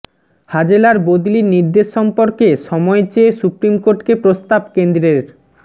হাজেলার বদলির নির্দেশ সম্পর্কে সময় চেয়ে সুপ্ৰিম কোর্টকে প্ৰস্তাব কেন্দ্ৰের